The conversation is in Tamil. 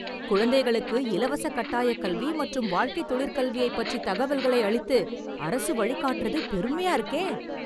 குழந்தைகளுக்கு இலவச கட்டாயக் கல்வி மற்றும் வாழ்க்கைத் தொழிற் கல்வியைப் பற்றி தகவல்களை அளித்து, அரசு வழிகாட்டறது பெருமையா இருக்கே..